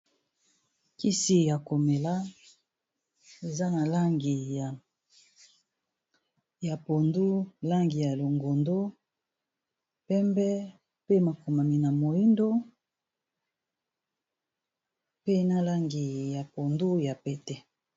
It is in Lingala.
kisi ya komela eza na langi ya pondu langi ya longondo pembe pe makomami na moindo pe na langi ya pondu ya pete